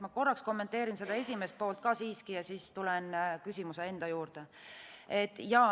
Ma korraks kommenteerin esimest poolt ka siiski ja siis tulen küsimuse enda juurde.